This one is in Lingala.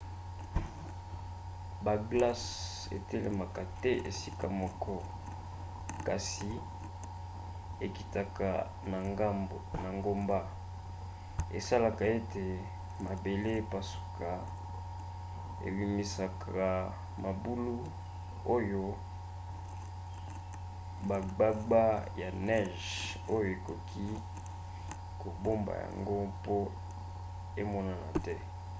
baglace etelemaka te esika moko kasi ekitaka na ngomba. esalaka ete mabele epasuka ebimisaka mabulu oyo bagbagba ya neige oyo ekoki kobomba yango mpo emonana te